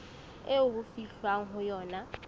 eo ho fihlwang ho yona